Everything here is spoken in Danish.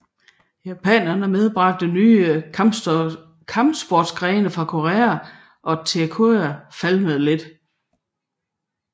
Japanerne medbragte nye kamsportsgrene til Korea og Tae Kyon falmede lidt